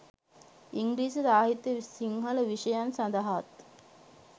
ඉංග්‍රීසි සාහිත්‍ය සිංහල විෂය සඳහාත්